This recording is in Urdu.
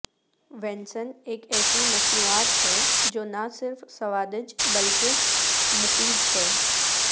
وینسن ایک ایسی مصنوعات ہے جو نہ صرف سوادج بلکہ مفید ہے